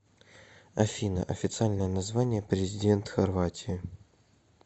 афина официальное название президент хорватии